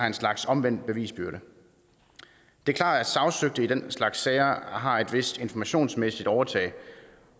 en slags omvendt bevisbyrde det er klart at sagsøgte i den slags sager har et vist informationsmæssigt overtag